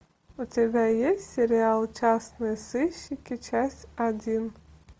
у тебя есть сериал частные сыщики часть один